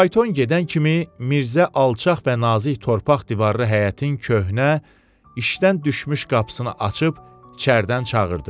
Fayton gedən kimi Mirzə alçaq və nazik torpaq divarlı həyətin köhnə, işdən düşmüş qapısını açıb içəridən çağırdı.